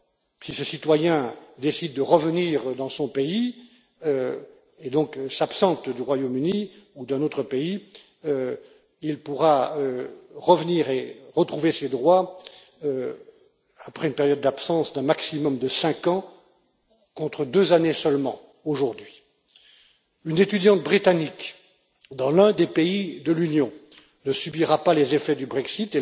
Si ce citoyen décide de revenir dans son pays et, donc, s'absente du Royaume Uni ou d'un autre pays, il pourra revenir et retrouver ses droits après une période d'absence d'un maximum de cinq ans, contre deux années seulement aujourd'hui. Une étudiante britannique dans l'un des pays de l'Union ne subira pas les effets du Brexit.